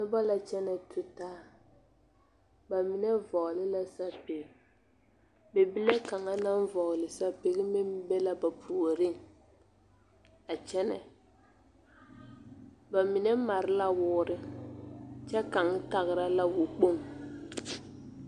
Noba la kyɛnɛ tutaa ba mine vɔgle la sapige bibile kaŋ vɔgle sapige meŋ be la ba puoriŋ a kyɛnɛ ba mine mare la woore kyɛ kaŋ tagra la wokpoŋ.